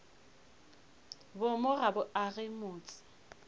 boomo ga bo age motse